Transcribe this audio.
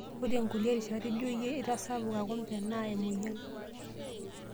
Ore nkuliek rishat ijo iyie itasapuka kumbe naa emoyian.